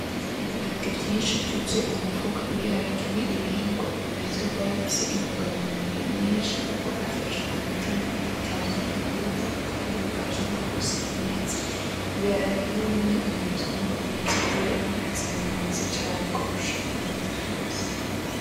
Ibiharage vyinshi vyuzuye umufuka, ibiharage ni ibihingwa bizwi kuba bifise intungamubiri nyinshi kuko bifasha umutima bitanga inguvu kandi bifasha no gusya neza. Ibiharage ni bimwe mu bitungwa bizi kuba bizimbutse cane kurusha ibindi vyose.